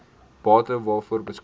bate waaroor beskik